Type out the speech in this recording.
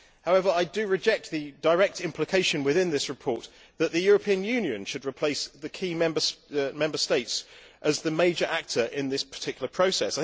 However, I reject the direct implication within this report that the European Union should replace the key Member States as the major actor in this particular process.